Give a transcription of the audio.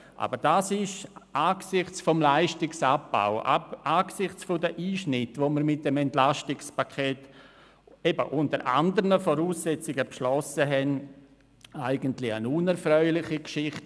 Aber das ist angesichts des Leistungsabbaus, angesichts der Einschnitte, die wir mit dem EP, das unter anderen Voraussetzungen beschlossen wurde, eine unerfreuliche Geschichte.